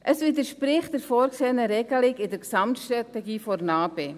Es widerspricht der vorgesehenen Regelung in der Gesamtstrategie zur NA-BE.